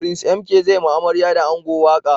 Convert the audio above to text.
Prince MK zai ma amarya da ango waƙa